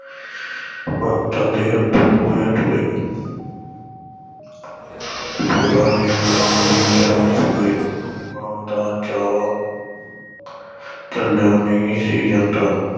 ਮਮਤਾ ਦੇ ਅੱਥਰੂ ਵਹਿ ਤੁਰੇ ਪੂਰਨ ਨੇ ਮਾਂ ਦੇ ਚਰਨ ਛੂਹੇ ਮਾਂ ਦਾ ਚਾਅ ਝੱਲਿਆ ਨਹੀਂ ਸੀ ਜਾਂਦਾ।